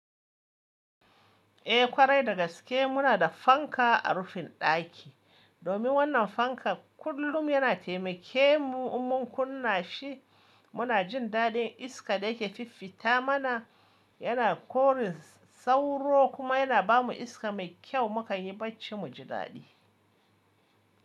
Eh ƙwarai da gaske muna da fanka a rufin ɗaki. Domin wannan fanka kullum yana taimake mu in mun kunna shi, muna jin daɗin iska da yake fifita mana. Yana korin sauro kuma yana bamu iska mai kyau muka yi bacci mu ji daɗi.